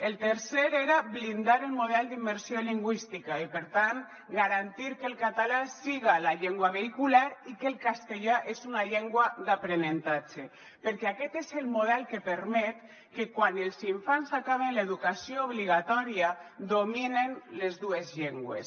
el tercer era blindar el model d’immersió lingüística i per tant garantir que el català siga la llengua vehicular i que el castellà és una llengua d’aprenentatge perquè aquest és el model que permet que quan els infants acaben l’educació obligatòria dominen les dues llengües